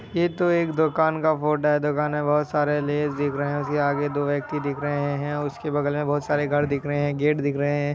ये तो एक दुकान का फोटो हैदुकान मे बोहत सारे लेस दिख रहे हैउसकी आगे दो व्यक्ति दिख रहे है और उसकी बगल मे बोहत सारे घर दिख रहे है गेट दिख रहे है।